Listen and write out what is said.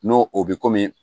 N'o o bɛ komi